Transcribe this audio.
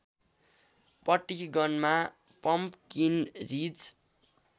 पटिगनमा pumpkin ridge